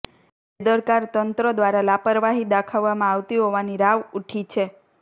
બેદરકાર તંત્ર દ્વારા લાપરવાહી દાખવવામાં આવતી હોવાની રાવ ઉઠી છે